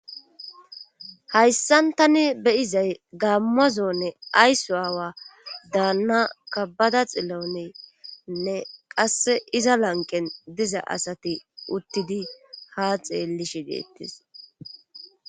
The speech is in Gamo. hayssan tani beyizay gaammazonne aysu aawa daanna kabbada xilloenne qasse iza lanqen diza asati uttidi ha xeellishi deettis